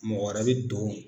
Mɔgɔ wɛrɛ we don